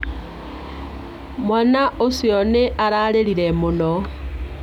Mwaana ũcio nĩ ararĩrire mũno.